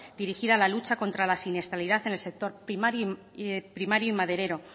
dirigida a la lucha contra la siniestralidad en el sector primario y maderero